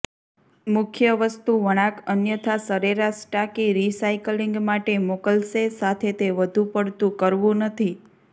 મુખ્ય વસ્તુ વળાંક અન્યથા સરેરાશ ટાંકી રિસાયક્લિંગ માટે મોકલશે સાથે તે વધુપડતું કરવું નથી